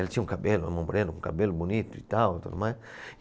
Ela tinha um cabelo, um cabelo bonito e tal, tudo mais.